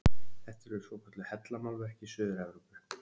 Þetta eru svokölluð hellamálverk í Suður-Evrópu.